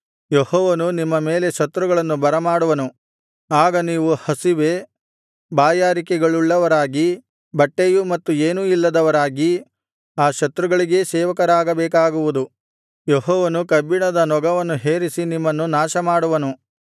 ಯೆಹೋವನು ನಿಮ್ಮ ಮೇಲೆ ಶತ್ರುಗಳನ್ನು ಬರಮಾಡುವನು ಆಗ ನೀವು ಹಸಿವೆ ಬಾಯಾರಿಕೆಗಳುಳ್ಳವರಾಗಿ ಬಟ್ಟೆಯೂ ಮತ್ತು ಏನೂ ಇಲ್ಲದವರಾಗಿ ಆ ಶತ್ರುಗಳಿಗೇ ಸೇವಕರಾಗಬೇಕಾಗುವುದು ಯೆಹೋವನು ಕಬ್ಬಿಣದ ನೊಗವನ್ನು ಹೇರಿಸಿ ನಿಮ್ಮನ್ನು ನಾಶಮಾಡುವನು